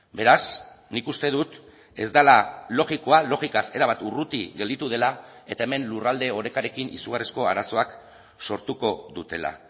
beraz nik uste dut ez dela logikoa logikaz erabat urruti gelditu dela eta hemen lurralde orekarekin izugarrizko arazoak sortuko dutela